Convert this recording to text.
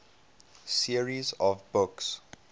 series of books